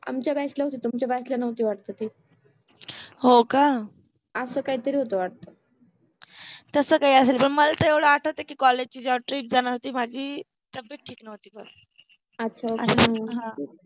आमच्या बॅच ला होति तुमच्या बॅच ला नवति वाट्त ति हो का, अस काहितरि होत वाटते तस काहि असेल. मला एवढ आठ्वते कि कॉलेज चि जेव्हा ट्र जानार होति तेव्हा माझि तब्बेत ठिक नवति, अच्छा अच्छा ह